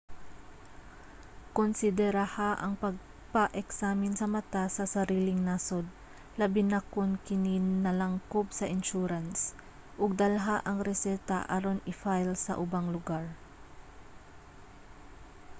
konsideraha ang pagpa-eksamin sa mata sa sariling nasod labi na kon kini nalangkob sa insurance ug dalha ang reseta aron i-file sa ubang lugar